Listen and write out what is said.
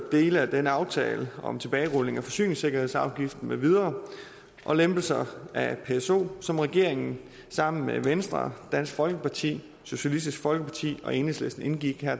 dele af den aftale om tilbagerulning af forsyningssikkerhedsafgiften med videre og lempelser af pso som regeringen sammen med venstre dansk folkeparti socialistisk folkeparti og enhedslisten indgik